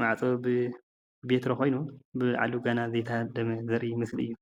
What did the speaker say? ማዕፆ ብቤትሮ ኾይኑ ኣብ ላዕሉ ድማ ዘይተሃደመ ምስሊ እዩ።